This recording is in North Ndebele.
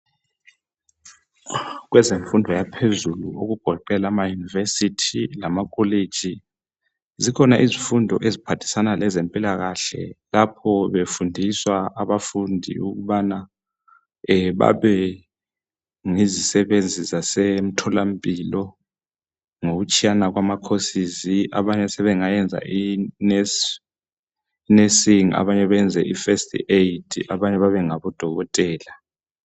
Kwenzenfundo yaphezulu okugoqela ama Univesithi lamakolitshi. Zikhona izifundo eziphathisana lezempilakahle lapho befundiswa abafundi ukubana babe yizisebenzi zasemtholampilo ngokutshiyana kwama khosizi abanye sebengayenza inesinsingi abanye benze first aid abanye babe ngodokotela.